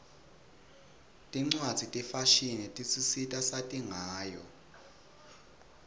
tincwadzi tefashini tisisita sati ngayo